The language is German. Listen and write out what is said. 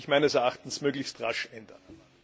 Das muss sich meines Erachtens möglichst rasch ändern.